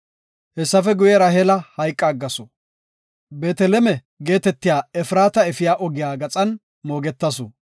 Hessafe guye, Raheela hayqa aggasu. Beeteleme geetetiya Efraata efiya ogiya gaxan moogetasu.